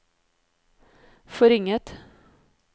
forringet